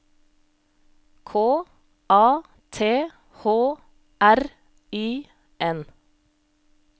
K A T H R I N